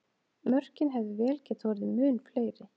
Mörkin hefðu vel getað orðið mun fleiri!